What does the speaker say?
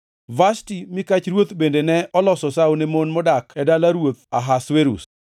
Vashti mikach ruoth bende ne oloso sawo ne mon modak e dala ruoth Ahasuerus.